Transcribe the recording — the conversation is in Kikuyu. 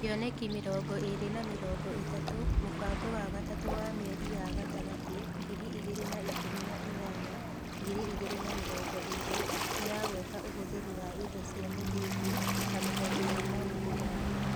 Kĩoneki mĩrongo ĩĩrĩ na mĩrongo ĩtatũ Mũbango wa Gatatũ wa Mĩeri ya Gatagatĩ ngiri igĩrĩ na ikũmi na inyanya-ngiri igĩrĩ na mĩrongo ĩrĩ ĩragweta ũhũthĩri wa indo cia mũthingi ta mũhothi wa maũndũ mangĩ.